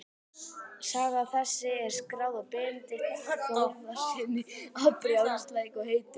Saga þessi er skráð af Benedikt Þórðarsyni á Brjánslæk og heitir